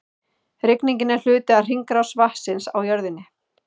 Rigningin er hluti af hringrás vatnsins á jörðinni.